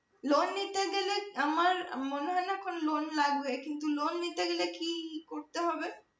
loan নিতে গেলে আহ আমার মনে হয় না কোন loan লাগবে কিন্তু loan নিতে গেলে কি করতে হবে?